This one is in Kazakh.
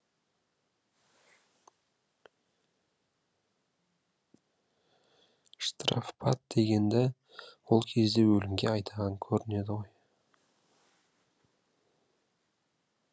штрафбат дегенді ол кезде өлімге айдаған көрінеді ғой